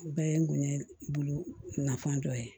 Bɛɛ ye n gonɲɛkulu nafan dɔ ye